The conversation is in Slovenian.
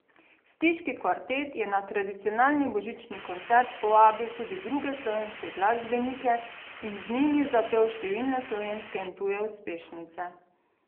Stiški kvartet je na tradicionalni božični koncert povabil tudi druge slovenske glasbenike in z njimi zapel številne slovenske in tuje uspešnice.